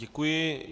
Děkuji.